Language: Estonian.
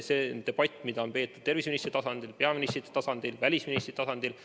See on debatt, mida on peetud terviseministrite tasandil, peaministrite tasandil, välisministrite tasandil.